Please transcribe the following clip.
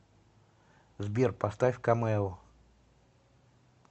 сбер поставь камео